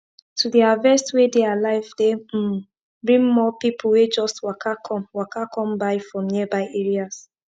to dey harvest wey dey alive dey um bring more people wey just waka come waka come buy from nearby areas